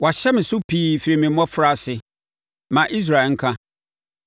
“Wɔahyɛ me so pii firi me mmɔfraase, ma Israel nka.